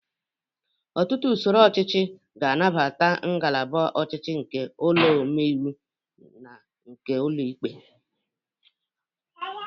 Ọtụtụ usoro ọchịchị ga-anabata ngalaba ọcịichị nke ụlọ ome iwu na nke ụlọ ikpe.